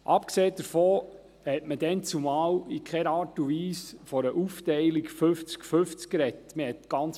Abgesehen davon, hat man damals in keiner Art und Weise von einer Aufteilung fünfzig zu fünfzig gesprochen.